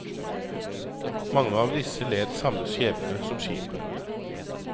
Mange av disse led samme skjebne som skipet.